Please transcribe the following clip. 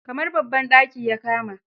Kamar babban daki ya kama.